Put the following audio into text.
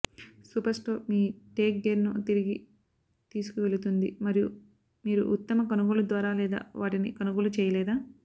superstore మీ tech గేర్ను తిరిగి తీసుకువెళుతుంది మరియు మీరు ఉత్తమ కొనుగోలు ద్వారా లేదా వాటిని కొనుగోలు చేయలేదా